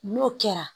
N'o kɛra